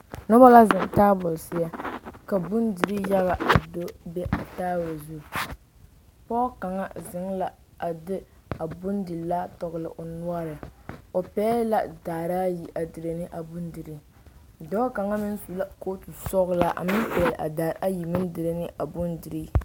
Noba la zeŋ tabol seɛ ka bondire yaga a do be a tabol zu pɔge kaŋa zeŋ la a de a bondi laa toɔle o noɔre o pegle la daare ayi a diire ne a bondire dɔɔ kaŋa meŋ su la kootu sɔglaa a meŋ pegle a daare ayi maŋ diire ne a bondire.